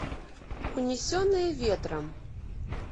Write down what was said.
унесенные ветром